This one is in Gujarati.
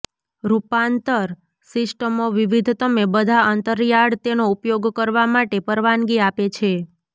રૂપાંતર સિસ્ટમો વિવિધ તમે બધા અંતરિયાળ તેનો ઉપયોગ કરવા માટે પરવાનગી આપે છે